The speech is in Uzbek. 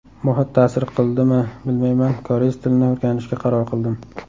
Muhit ta’sir qildmi bilmayman koreys tilini o‘rganishga qaror qildim.